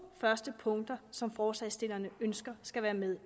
første punkter som forslagsstillerne ønsker skal være med